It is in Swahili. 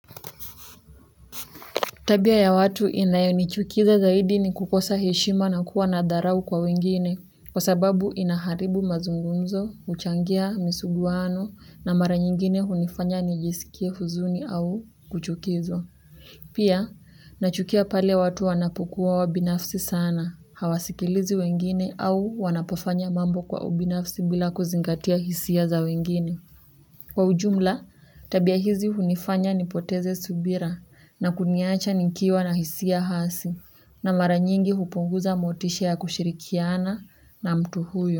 Tabia ya watu inayonichukiza zaidi ni kukosa heshima na kuwa na dharau kwa wengine kwa sababu inaharibu mazungunzo, huchangia, misuguanu na mara nyingine hunifanya nijisikia huzuni au kuchukizwa. Pia, nachukia pale watu wanapokuwa wabinafsi sana, hawasikilizi wengine au wanapofanya mambo kwa ubinafsi bila kuzingatia hisia za wengine. Kwa ujumla, tabia hizi hunifanya nipoteze subira na kuniacha nikiwa na hisia hasi na mara nyingi hupunguza motisha ya kushirikiana na mtu huyo.